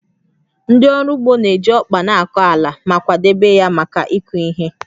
Ndị ọrụ ugbo na-eji ọkpa na-akọ ala ma kwadebe ya maka ịkụ ihe